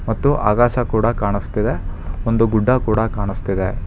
ಮತ್ತು ಆಕಾಶ್ ಕೂಡ ಕಾಣಿಸ್ತಿದೆ ಒಂದು ಗುಡ್ಡ ಕೂಡ ಕಾಣಿಸ್ತಿದೆ.